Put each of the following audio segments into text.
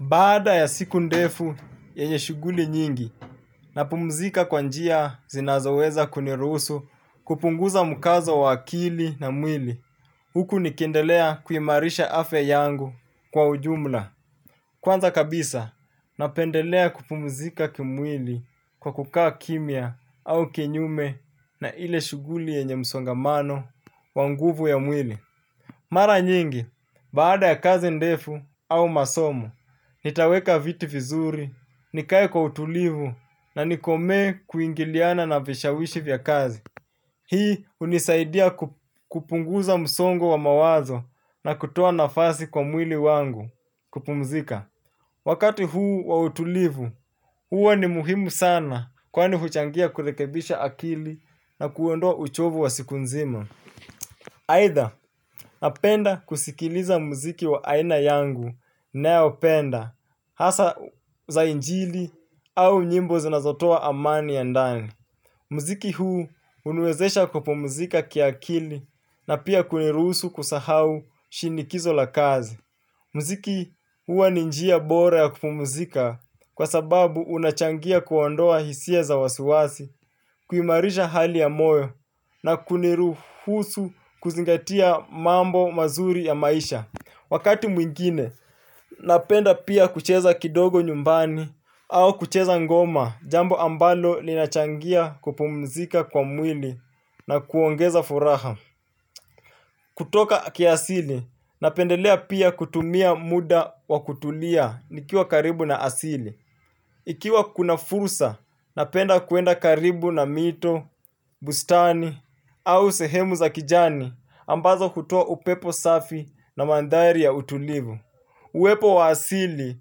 Baada ya siku ndefu yenye shuguli nyingi, napumzika kwa njia zinazoweza kuniruhusu kupunguza mkazo wa akili na mwili. Huku nikendelea kuimarisha afya yangu kwa ujumla. Kwanza kabisa, napendelea kupumzika kimwili kwa kukaa kimya au kinyume na ile shuguli yenye msongamano wa nguvu ya mwili. Mara nyingi, baada ya kazi ndefu au masomo, nitaweka viti vizuri, nikae kwa utulivu na nikome kuingiliana na vishawishi vya kazi. Hii unisaidia kupunguza msongo wa mawazo na kutoa nafasi kwa mwili wangu kupumzika. Wakati huu wa utulivu, huwa ni muhimu sana kwani huchangia kurekebisha akili na kuondoa uchovu wa siku nzima. Either napenda kusikiliza mziki wa aina yangu naopenda hasa za injili au nyimbo zinazotoa amani ya ndani. Mziki huu uniwezesha kupumzika kiakili na pia kuniruhusu kusahau shinikizo la kazi. Mziki huwa ni njia bora ya kupumuzika kwa sababu unachangia kuondoa hisia za wasiwasi, kuimarisha hali ya moyo na kuniruhusu kuzingatia mambo mazuri ya maisha. Wakati mwingine, napenda pia kucheza kidogo nyumbani au kucheza ngoma jambo ambalo linachangia kupumuzika kwa mwili na kuongeza furaha. Kutoka kiasili, napendelea pia kutumia muda wa kutulia nikiwa karibu na asili. Ikiwa kuna fursa, napenda kuenda karibu na mito, bustani au sehemu za kijani ambazo hutoa upepo safi na mandhari ya utulivu. Uwepo wa asili,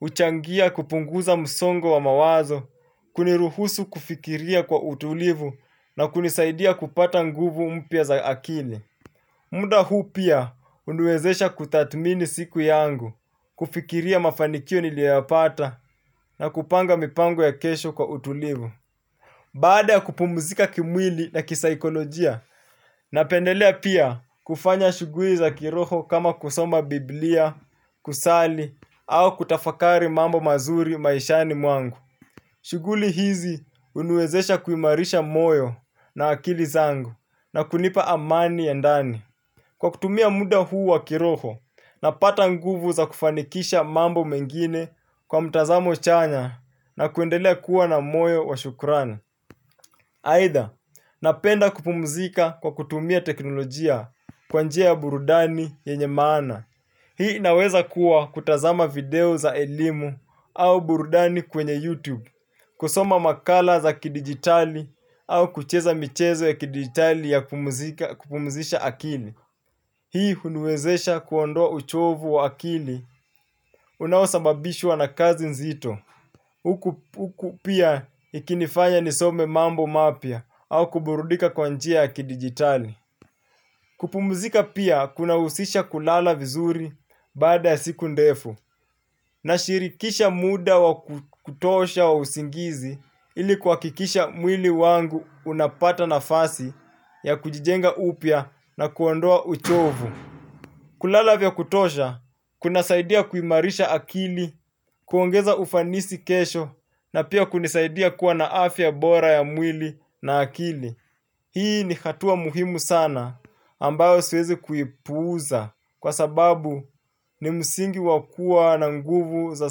huchangia kupunguza msongo wa mawazo, kuniruhusu kufikiria kwa utulivu na kunisaidia kupata nguvu mpya za akili. Muda huu pia uniwezesha kutathmini siku yangu, kufikiria mafanikio nilioyapata na kupanga mipango ya kesho kwa utulivu. Baada kupumuzika kimwili na kisaikolojia, napendelea pia kufanya shuguli za kiroho kama kusoma biblia, kusali, au kutafakari mambo mazuri maishani mwangu. Shuguli hizi uniwezesha kuimarisha moyo na akili zangu na kunipa amani ya ndani. Kwa kutumia muda huu wa kiroho, napata nguvu za kufanikisha mambo mengine kwa mtazamo chanya na kuendelea kuwa na moyo wa shukurani. Aidha, napenda kupumzika kwa kutumia teknolojia kwa njia ya burudani yenye maana. Hii inaweza kuwa kutazama video za elimu au burudani kwenye YouTube, kusoma makala za kidigitali au kucheza michezo ya kidigitali ya kupumzisha akili. Hii uniwezesha kuondoa uchovu wa akili unaosababishwa na kazi nzito. Uku pia ikinifanya nisome mambo mapya au kuburudika kwa njia kidigitali. Kupumzika pia kunahusisha kulala vizuri baada ya siku ndefu. Nashirikisha muda wa kutosha wa usingizi ili kuwakikisha mwili wangu unapata nafasi ya kujijenga upya na kuondoa uchovu. Kulala vya kutosha, kunasaidia kuimarisha akili, kuongeza ufanisi kesho na pia kunisaidia kuwa na afya bora ya mwili na akili. Hii ni hatua muhimu sana ambayo siwezi kuipuuza kwa sababu ni msingi wakuwa na nguvu za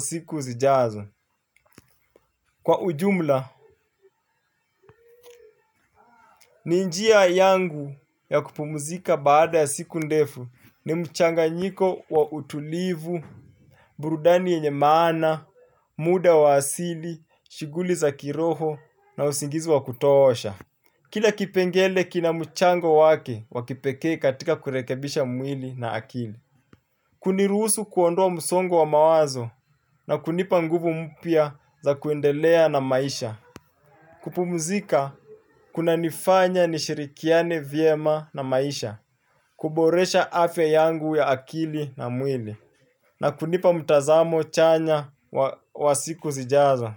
siku zijazo. Kwa ujumla, ni njia yangu ya kupumuzika baada ya siku ndefu ni mchanganyiko wa utulivu, burudani yenye maana, muda wa asili, shuguli za kiroho na usingizi wa kutoosha. Kila kipengele kina mchango wake wa kipeke katika kurekebisha mwili na akili. Kuniruhusu kuondoa msongo wa mawazo na kunipa nguvu mpya za kuendelea na maisha. Kupumzika, kunanifanya nishirikiane, vyema na maisha. Kuboresha afya yangu ya akili na mwili na kunipa mtazamo chanya wa siku zijazo.